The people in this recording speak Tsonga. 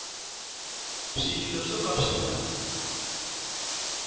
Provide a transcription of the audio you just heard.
swilo swo ka swi nga